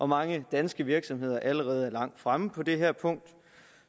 mange danske virksomheder allerede er langt fremme på det her punkt